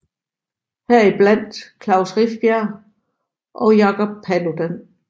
Her i blandt Klaus Rifbjerg og Jacob Paludan